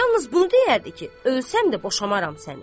Yalnız bunu deyərdi ki, ölsəm də boşamaram səni.